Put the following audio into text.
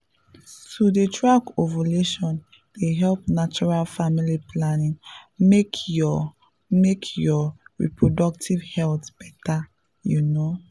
to dey track ovulation dey help natural family planning make your make your reproductive health better you know.